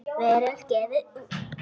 Veröld gefur út.